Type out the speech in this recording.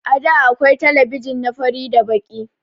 àda akwai telebijin na fari da Baki.